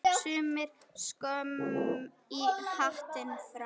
Sumir skömm í hattinn fá.